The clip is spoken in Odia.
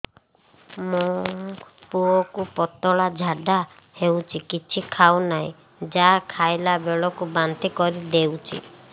ମୋ ପୁଅ କୁ ପତଳା ଝାଡ଼ା ହେଉଛି କିଛି ଖାଉ ନାହିଁ ଯାହା ଖାଇଲାବେଳକୁ ବାନ୍ତି କରି ଦେଉଛି